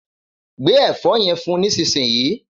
Gbé ẹ̀fọ́ yen fún nísinsìnyí